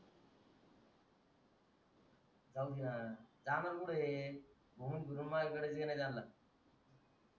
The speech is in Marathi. जाऊदेत सामान कुटंय घुमून फिरून माझ्या कडे येणं आहे त्यांना